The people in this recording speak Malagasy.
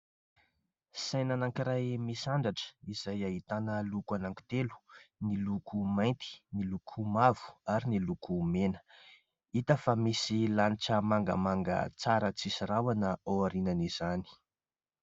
Saina anankiray misandratra izay ahitana loko anaky telo : ny loko mainty, ny loko mavo ary ny loko mena. Hita fa misy lanitra mangamanga tsara tsisy rahona ao aorinan'izany.